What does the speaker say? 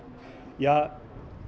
ja